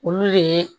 Olu de ye